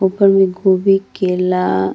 ऊपर मे गोभी केला --